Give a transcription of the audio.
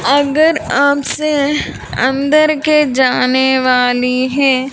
अगर आपसे अंदर के जाने वाली है।